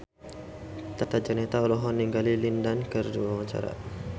Tata Janeta olohok ningali Lin Dan keur diwawancara